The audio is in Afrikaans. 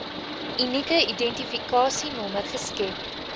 unieke identifikasienommer geskep